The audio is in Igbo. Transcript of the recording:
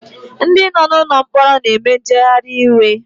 Ndi no nụlọ mkpọrọ na-eme njeghari iwe